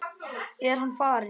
Er hann farinn?